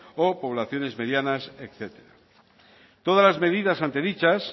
o poblaciones medianas etcétera todas las medidas antes dichas